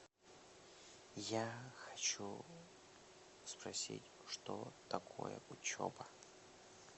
я хочу спросить что такое учеба